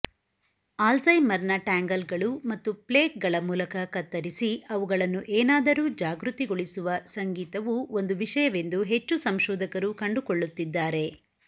ಆಲ್ಝೈಮರ್ನ ಟ್ಯಾಂಗಲ್ಗಳು ಮತ್ತು ಪ್ಲೇಕ್ಗಳ ಮೂಲಕ ಕತ್ತರಿಸಿ ಅವುಗಳನ್ನು ಏನಾದರೂ ಜಾಗೃತಗೊಳಿಸುವ ಸಂಗೀತವು ಒಂದು ವಿಷಯವೆಂದು ಹೆಚ್ಚು ಸಂಶೋಧಕರು ಕಂಡುಕೊಳ್ಳುತ್ತಿದ್ದಾರೆ